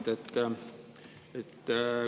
Hea Mart!